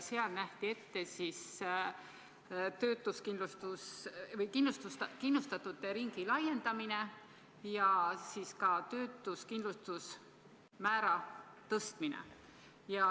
Seal nähti ette kindlustatute ringi laiendamine ja ka töötuskindlustusmäära tõstmine.